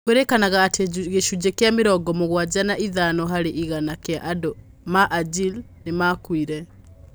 Kwĩrĩkanaga atĩ gĩcunjĩ kĩa mĩrongo mũgwanja na ithano varĩ igana kĩa andũ ma Wajir nĩ maakuire